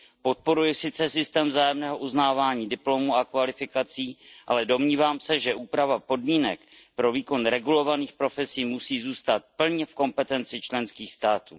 Podporuji sice systém vzájemného uznávání diplomů a kvalifikací, ale domnívám se, že úprava podmínek pro výkon regulovaných profesí musí zůstat plně v kompetenci členských států.